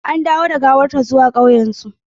An dawo da gawar ta zuwa ƙauyensu.